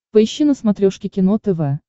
поищи на смотрешке кино тв